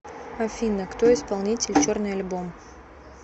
афина кто исполнитель черный альбом